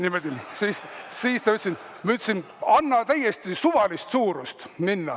Ma ütlesin: "Anna minna midagi täiesti suvalist!